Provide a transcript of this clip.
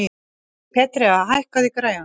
Petrea, hækkaðu í græjunum.